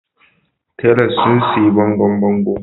Tilers sun yi bangon bango.